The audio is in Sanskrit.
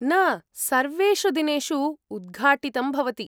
न, सर्वेषु दिनेषु उद्घाटितं भवति।